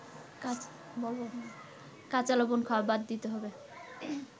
কাঁচালবণ খাওয়া বাদ দিতে হয়